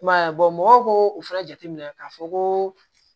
I m'a ye mɔgɔw k'o fana jateminɛ k'a fɔ ko